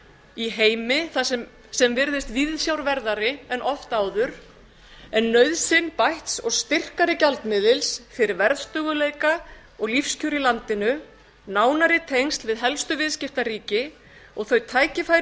í heimi sem virðist viðsjárverðari en oft áður en nauðsyn bætt og styrkari gjaldmiðils fyrir verðstöðugleika og lífskjör í landinu nánari tengsl við helstu viðskiptaríki og þau tækifæri